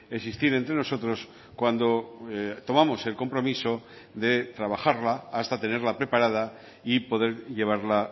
existir entre nosotros cuando tomamos el compromiso de trabajarla hasta tenerla preparada y poder llevarla